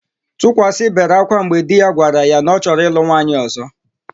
Tukwasị bere akwa mgbe di ya gwara ya na ọ chọrọ ịlụ nwaanyị ọ̀zọ́.